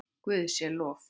Guði sé lof.